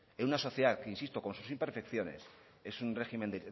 en una sociedad que insisto con sus imperfecciones